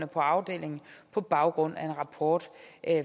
på afdelingen på baggrund af en rapport